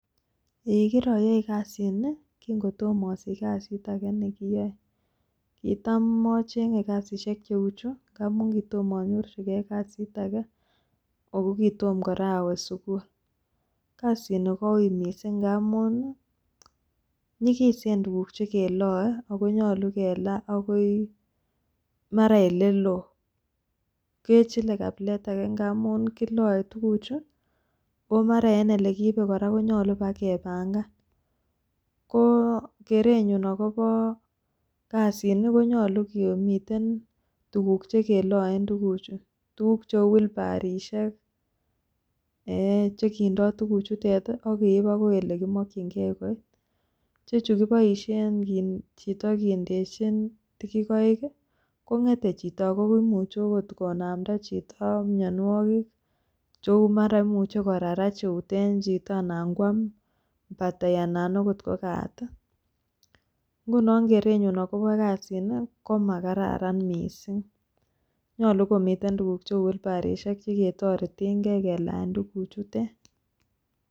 Eeiy kiroyoi kasini kinkotomo osich kasit age nekiyoe. Kitam ocheng'e kasishek cheu chu ngamun kitomanyorjige kasit age ago kitomo kora awe sugul. Kasini kouiy mising ngamun ii nyegisen tuguk che keloe ago nyolu kelaa agoi, mara ele loo. Kechile kabilet age ngamun kiloe tuguchu oo mara en ele kiibe kora konyolu bagepangan. Ko kerenyun agobo kasini ko nyulo komiten tuguk che keloen tuguchu. Tuguk cheu wilbarishek, che kindo tuguchutet ak keib agoi ele kimokinge. Icheju kiboishen chito kindechin tegikoik ii kong'ete chito ago imuche agot konamda chito mianwogik cheu mara imuche korarach eut en chito anan koam batai anan agot ko katit. Ngunon kerenyun agobo kasini ko makararan mising nyolu komiten tuguk cheu wilbarishek cheketoretenge kelaa tuguchutet.